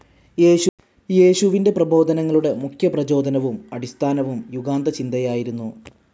യേശുവിന്റെ പ്രബോധനങ്ങളുടെ മുഖ്യ പ്രചോദനവും അടിസ്ഥാനവും യുഗാന്തചിന്തയായിരുന്നു.